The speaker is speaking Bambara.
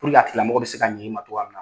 a tigila mɔgɔ bɛ se ka ɲɛ i ma togoya minna .